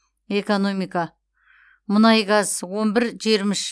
экономика мұнай газ он бір жиырма үш